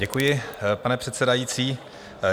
Děkuji, pane předsedající.